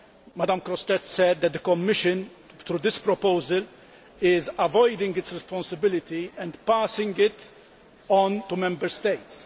Ms Grossetête said that the Commission, through this proposal, is avoiding its responsibility and passing it on to Member States.